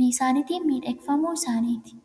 midhagfamuu isaaniiti.